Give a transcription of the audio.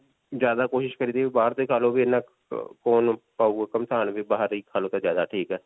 ਜਿਆਦਾ ਕੋਸ਼ਿਸ਼ ਕਰੀਦੀ ਵੀ ਬਾਹਰ ਦੇ ਬਾਹਰ ਹੀ ਖਾ ਲਵੋ ਤੇ ਜਿਆਦਾ ਠੀਕ ਹੈ.